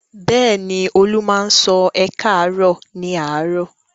Bẹ́ẹ̀ ni, Olú máa ń sọ "ẹ káàárọ̀" ní àárọ̀.